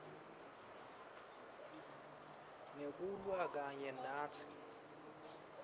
ngekulwa kanye natsi